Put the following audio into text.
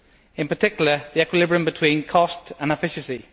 in particular, the equilibrium between cost and efficiency.